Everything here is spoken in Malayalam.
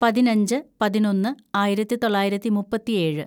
പതിനഞ്ച് പതിനൊന്ന് ആയിരത്തിതൊള്ളായിരത്തി മുപ്പത്തിയേഴ്‌